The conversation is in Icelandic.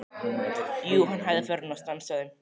Jú, hann hægði ferðina og stansaði.